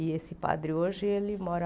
E esse padre hoje ele mora